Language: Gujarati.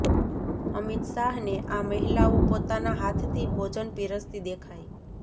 અમિત શાહને આ મહિલાઓ પોતાના હાથથી ભોજન પીરસતી દેખાઈ